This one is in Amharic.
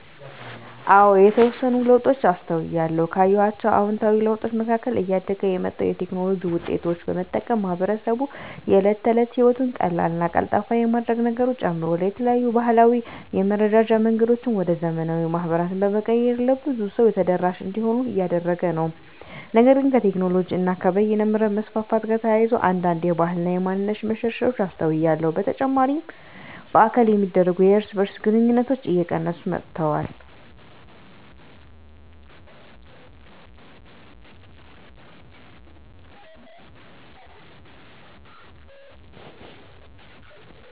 አዎ የተወሰኑ ለውጦችን አስተውያለሁ። ካየኋቸው አዉንታዊ ለውጦች መካከል እያደገ የመጣውን የቴክኖሎጂ ዉጤቶች በመጠቀም ማህበረሰቡ የእለት ተለት ህይወቱን ቀላልና ቀልጣፋ የማድረግ ነገሩ ጨምሯል። የተለያዩ ባህላዊ የመረዳጃ መንገዶችን ወደ ዘመናዊ ማህበራት በመቀየር ለብዙ ሰው ተደራሽ እንዲሆኑ እያደረገ ነው። ነገር ግን ከቴክኖሎጂ እና በይነመረብ መስፋፋት ጋር ተያይዞ አንዳንድ የባህል እና ማንነት መሸርሸሮች አስተውያለሁ። በተጨማሪ በአካል የሚደረጉ የእርስ በእርስ ግንኙነቶች እየቀነሱ መጥተዋል።